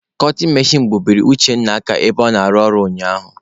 Kọtin mechin gbubiri Uchenna aka ebe ọ na-arụ ọrụ ụnyaahụ.